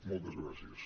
moltes gràcies